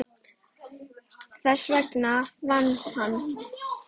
Þess vegna vann hann.